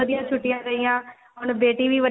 ਵਧਿਆ ਛੁੱਟੀਆ ਗਈਆ ਹੁਣ ਬੇਟੀ ਵੀ ਵੱਡੀ